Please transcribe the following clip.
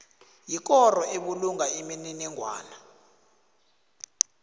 yikoro ebulunga imininingwana